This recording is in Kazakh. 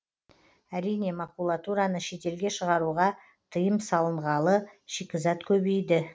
әрине макулатураны шетелге шығаруға тыйым салынғалы шикізат көбейді